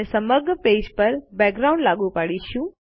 આપણે સમગ્ર પેજ પર બેકગ્રાઉન્ડ લાગુ પાડીશું